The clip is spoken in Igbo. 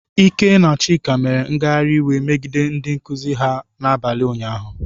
Ike na Chika, mere ngagharị iwe megide ndị nkuzi ha n'abalị ụnyahụ.